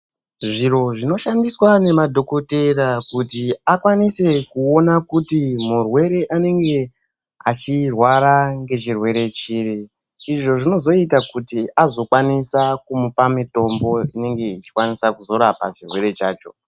Zviro zvinoshandiswa nemadhokotera kuti akwanise kuona kuti murwere anenge achirwara ngechirwere chiri, izvo zvinozoita kuti azokwanisa kumupa mitombo inenge ichikwanisa kuzorapa chirwere chacho.